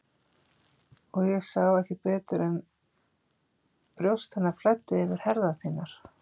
Og ég sá ekki betur en brjóst hennar flæddu yfir herðar þínar.